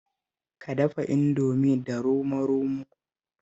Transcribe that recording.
Ka dafa Indomin da romo-romo